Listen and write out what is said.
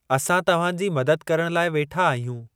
असां तव्हांजी मदद करण लाइ वेठा आहियूं ।